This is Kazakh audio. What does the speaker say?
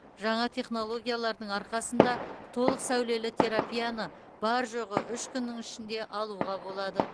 жаңа технологиялардың арқасында толық сәулелі терапияны бар жоғы үш күннің ішінде алуға болады